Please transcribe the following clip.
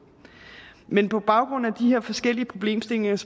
men på baggrund af de her forskellige problemstillinger